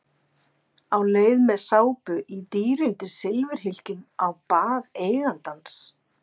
Á leið með sápu í dýrindis silfurhylkjum á bað eigandans.